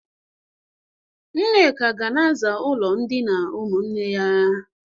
Nneka ga na-aza ụlọ ndịna ụmụnne ya.